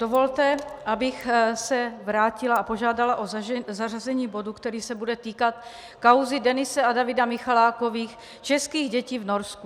Dovolte, abych se vrátila a požádala o zařazení bodu, který se bude týkat kauzy Denise a Davida Michalákových, českých dětí v Norsku.